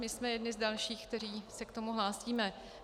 My jsme jedni z dalších, kteří se k tomu hlásíme.